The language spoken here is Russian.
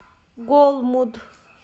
голмуд